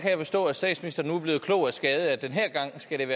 jeg forstå at statsministeren nu er blevet klog af skade at den her gang skal